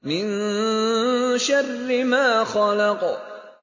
مِن شَرِّ مَا خَلَقَ